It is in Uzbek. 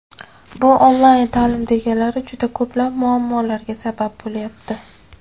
Bu onlayn taʼlim deganlari juda ko‘plab muammolarga sabab bo‘lyapti.